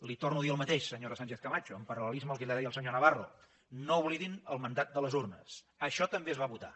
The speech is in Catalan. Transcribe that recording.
li torno a dir el mateix senyora sánchez camacho en paralsenyor navarro no oblidin el mandat de les urnes això també es va votar